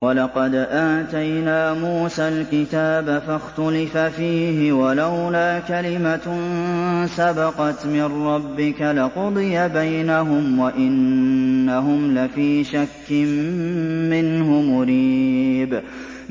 وَلَقَدْ آتَيْنَا مُوسَى الْكِتَابَ فَاخْتُلِفَ فِيهِ ۗ وَلَوْلَا كَلِمَةٌ سَبَقَتْ مِن رَّبِّكَ لَقُضِيَ بَيْنَهُمْ ۚ وَإِنَّهُمْ لَفِي شَكٍّ مِّنْهُ مُرِيبٍ